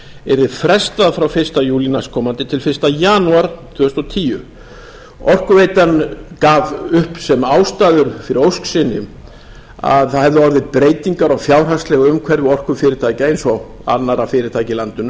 yrði frestað frá fyrsta júlí næstkomandi til fyrsta janúar tvö þúsund og tíu orkuveitan gaf upp sem ástæðu fyrir ósk sinni að það hefðu orðið breytingar á fjárhagslegu umhverfi orkufyrirtækja eins og annarra fyrirtækja í